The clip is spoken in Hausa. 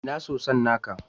Ina soson naka?